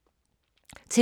TV 2